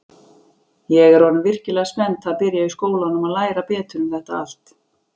Ég er orðin virkilega spennt að byrja í skólanum og læra betur um þetta allt.